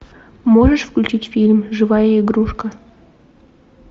можешь включить фильм живая игрушка